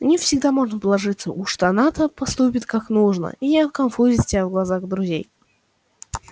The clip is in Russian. на нее всегда можно положиться уж она-то поступит как нужно и не оконфузит тебя в глазах друзей